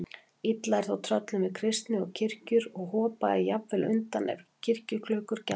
Illa er þó tröllum við kristni og kirkjur og hopa jafnan undan ef kirkjuklukkur gjalla.